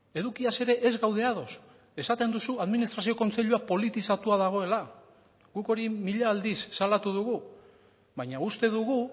edukiaz ere ez gaude ados esaten duzu administrazio kontseilua politizatua dagoela guk hori mila aldiz salatu dugu baina uste dugu